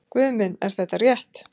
Guð minn er þetta rétt?